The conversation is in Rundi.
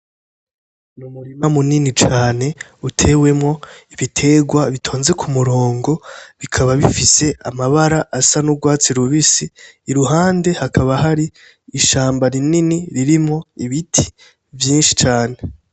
N'umurima munini cane utewemwo ibiterwa bitonze k'umurongo bikaba bifise amabara asa n'urwatsi rubisi, iruhande hakaba hari ishamba rinini ririmwo ibiti vyinshi cane.